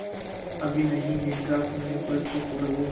अभी नहीं निद्रा खुलने पर चुप रहो